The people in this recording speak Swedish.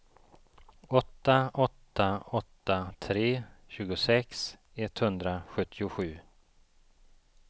åtta åtta åtta tre tjugosex etthundrasjuttiosju